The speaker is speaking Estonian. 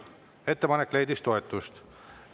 Ettepanek leidis toetust.